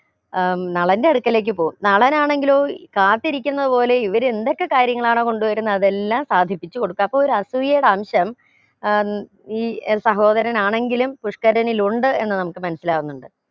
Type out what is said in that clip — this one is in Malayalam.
ഏർ നളന്റെ അടുക്കലേക്ക് പോകും നളനാണെങ്കിലോ കാത്തിരിക്കുന്നത് പോലെ ഇവര് എന്തൊക്കെ കാര്യങ്ങളാണോ കൊണ്ടുവരുന്നത് അതെല്ലാം സാധിപ്പിച്ച് കൊടുക്കും അപ്പോ ഒരു അസൂയടെ അംശം ഉം ഈ സഹോദരനാണെങ്കിലും പുഷ്ക്കരനിൽ ഉണ്ട് എന്ന് നമുക്ക് മനസ്സിലാകുന്നുണ്ട്